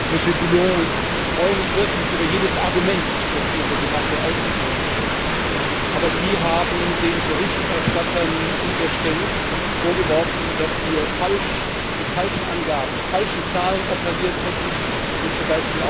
Monsieur Boulland, ich freue mich wirklich über jedes Argument, das hier in der Debatte ausgetauscht wird, aber Sie haben den Berichterstattern unterstellt, dass wir mit falschen Angaben, falschen Zahlen operiert hätten und z.